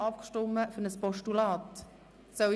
Haben Sie für ein Postulat abgestimmt?